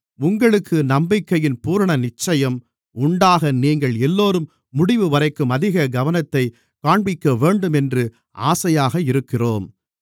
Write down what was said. உங்களுக்கு நம்பிக்கையின் பூரணநிச்சயம் உண்டாக நீங்கள் எல்லோரும் முடிவுவரைக்கும் அதிக கவனத்தைக் காண்பிக்கவேண்டும் என்று ஆசையாக இருக்கிறோம்